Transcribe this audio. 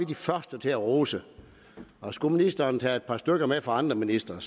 de første til at rose og skulle ministeren tage et par stykker med fra andre ministre